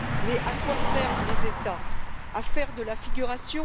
Mais à quoi servent les États? À faire de la figuration?